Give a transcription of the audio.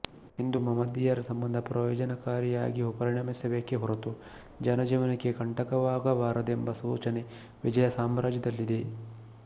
ಹಿಂದೂ ಮಹಮ್ಮದೀಯರ ಸಂಬಂಧ ಪ್ರಯೋಜನಕಾರಿಯಾಗಿ ಪರಿಣಮಿಸಬೇಕೇ ಹೊರತು ಜನಜೀವನಕ್ಕೆ ಕಂಟಕವಾಗಬಾರದೆಂಬ ಸೂಚನೆ ವಿಜಯಸಾಮ್ರಾಜ್ಯದಲ್ಲಿದೆ